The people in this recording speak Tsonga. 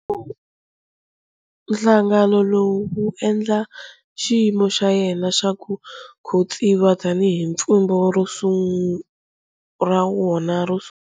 Nhlangano lowu wu endla xiyimo xa yena xa ku khotsiwa tani hi pfhumba ra wona ro sungula.